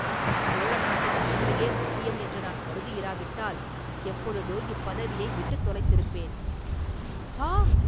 சோழ நாட்டின் மேன்மையே முக்கியம் என்று நான் கருதியிராவிட்டால், எப்பொழுதோ இப்பதவியை விட்டுத் தொலைத்திருப்பேன்.” “ஆ!